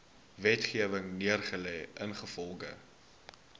wetgewing neergelê ingevolge